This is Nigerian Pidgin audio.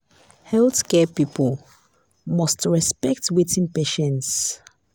healthcare people must to expect wetin patients